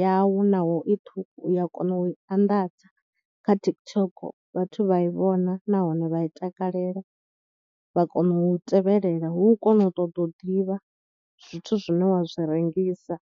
yau naho I ṱhukhu u ya kona u i anḓadza kha TikTok vhathu vha i vhona nahone vha i takalela vha kona u i tevhelela hu kone u ṱoḓa u ḓivha zwithu zwine wa zwi rengisa.